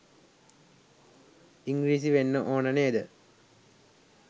ඉංග්‍රීසි වෙන්න ඕන නේද?